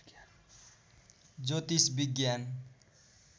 ज्योतिष विज्ञान